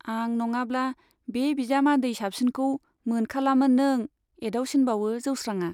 आं नङाब्ला बे बिजामादै साबसिनखौ मोनखालामोन नों एदाव सिनबावो जौस्रांआ।